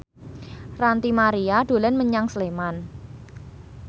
Ranty Maria dolan menyang Sleman